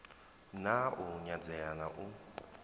na u nyadzea na u